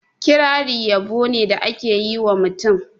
Kirari yabo ni da a ke yi ma mutum.